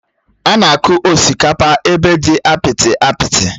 Ánà akụ osikapa ébé dị apịtị apịtị